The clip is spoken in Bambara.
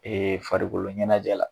Ee farikoloɲɛnajɛ la